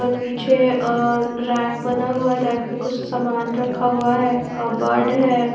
और पीछे रैक बना हुआ है रैक पे कुछ सामान रखा हुआ हैकबोर्ड़ है।